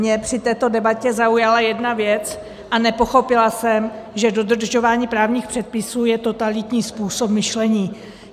Mě při této debatě zaujala jedna věc, a nepochopila jsem, že dodržování právních předpisů je totalitní způsob myšlení.